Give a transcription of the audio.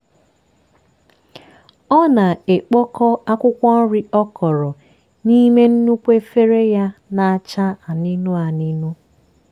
ọ na-ekpokọ akwụkwọ nri ọ kọrọ n'ime nnukwu efere ya na-acha anunu anunu.